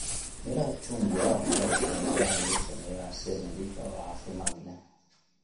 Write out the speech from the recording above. Miraha chungwa waxaa loo isticmaalaa in lagu sameeyo casiir nadiif ah oo caafimaad leh.